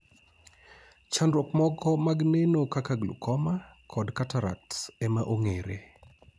chandruok moko mag neno kaka glaucoma kod catarcts ema ong'ere